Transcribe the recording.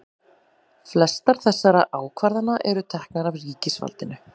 flestar þessara ákvarðana eru teknar af ríkisvaldinu